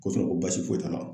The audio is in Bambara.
Ko ko basi foyi t'a la .